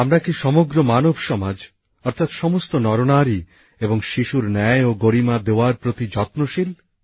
আমরা কি সমগ্র মানব সমাজ অর্থাৎ সমস্ত নরনারী এবং শিশুর ন্যায় ও গরিমা দেওয়ার প্রতি যত্নশীল